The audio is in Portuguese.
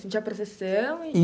Tinha procissão e?